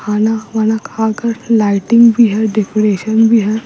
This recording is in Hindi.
खाना वाना खाकर लाइटिंग भी है डेकोरेशन भी है।